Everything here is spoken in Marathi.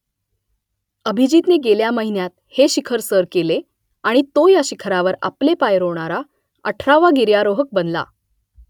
अभिजीतने गेल्या महिन्यात हे शिखर सर केले आणि तो या शिखरावर आपले पाय रोवणारा अठरावा गिर्यारोहक बनला